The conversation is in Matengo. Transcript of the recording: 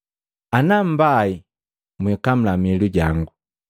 “Ana mnipai, mwikamula miilu jangu.